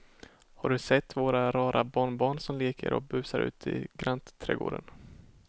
Har du sett våra rara barnbarn som leker och busar ute i grannträdgården!